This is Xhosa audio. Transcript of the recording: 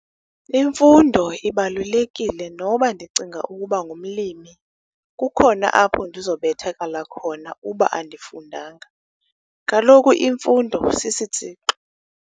Imfundo ibalulekile noba ndicinga ukuba ngumlimi, kukhona apho ndizobethakala khona uba andifundanga, kaloku imfundo sisitsixo.